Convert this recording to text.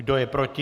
Kdo je proti?